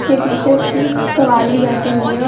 उसके पीछे उसकी सवारी बैठी हुवी है।